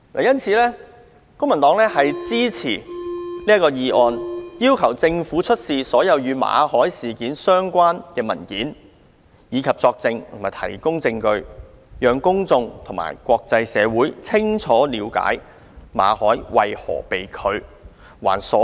因此，公民黨支持這項議案，要求政府出示所有與馬凱事件相關的文件，以及作證和提供證據，讓公眾和國際社會清楚了解馬凱工作簽證為何被拒，還所有人知情權。